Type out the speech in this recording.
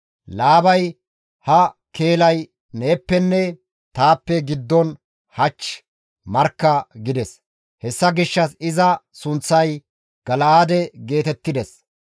Laabay, «Ha keelay neeppenne taappe giddon hach markka» gides; hessa gishshas iza sunththay Gal7eede geetettides.